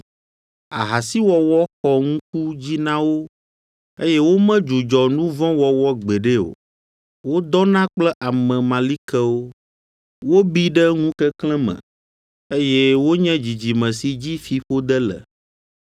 Ahasiwɔwɔ xɔ ŋku dzi na wo, eye womedzudzɔ nu vɔ̃ wɔwɔ gbeɖe o, wodɔna kple ame malikewo. Wobi ɖe ŋukeklẽ me, eye wonye dzidzime si dzi fiƒode le!